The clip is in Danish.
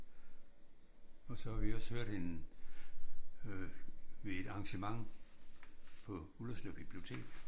Og så har vi også hørt hende ved et arrangement på Ullerslev bibliotek